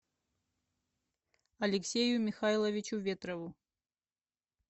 алексею михайловичу ветрову